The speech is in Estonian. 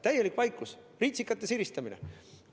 Täielik vaikus, ritsikate siristamine.